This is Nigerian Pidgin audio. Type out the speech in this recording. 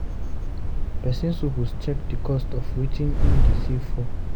Persin suppose check the cost of wetin him de save for